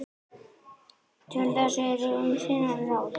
Til þess eru ýmis ráð.